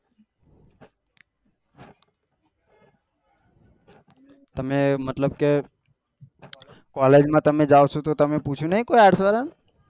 તમને મતલબ કે collage માં તમે જાઓ છો તો તમે પૂછ્યું નહિ કોઈ arts વાળા એ